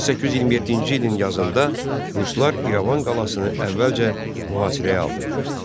1827-ci ilin yazında ruslar İrəvan qalasını əvvəlcə mühasirəyə aldılar.